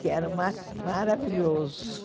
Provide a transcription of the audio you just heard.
que era ma maravilhoso.